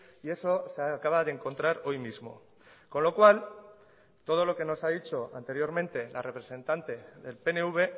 y eso se acaba de encontrar hoy mismo con lo cual todo lo que nos ha dicho anteriormente la representante del pnv